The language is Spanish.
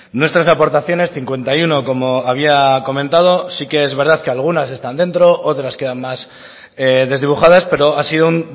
nuestras aportaciones cincuenta y uno como había comentado sí que es verdad que algunas están dentro otras quedan más desdibujadas pero ha sido un